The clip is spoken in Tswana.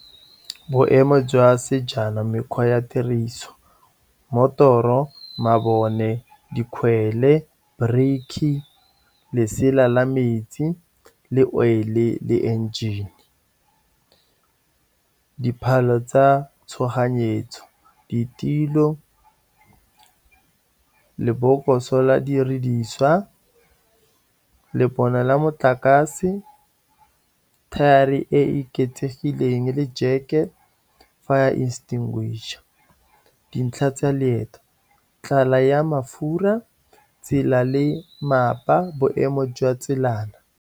Boemo jwa sejana, mekgwa ya tiriso, motoro, mabone, dikgwele, brikhi, lesela la metsi, le oil-e le engine, diphalo tsa tshoganyetso, ditilo, lebokoso la didiriswa, lebone la motlakase, thari e e oketsegileng, le jeke, fire extinguisher, dintlha tsa leeto, tlala ya mafura, tsela le mmapa, boemo jwa tsenelana.